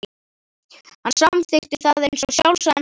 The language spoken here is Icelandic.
Hann samþykkti það eins og sjálfsagðan hlut.